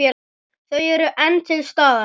Þau eru enn til staðar.